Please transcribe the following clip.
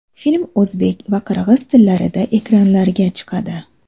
Film o‘zbek va qirg‘iz tillarida ekranlarga chiqadi.